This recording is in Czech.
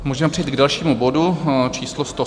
Můžeme přejít k dalšímu bodu číslo